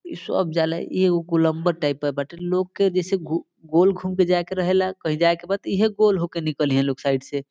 इ सब जाले इ एगो गोलंबर टाइप के बाटे लोग के जैसे घूर गोल घूम के जाए के रहे ला कही जाये के बा त इ हे गोल होक निकलिहे साइड से।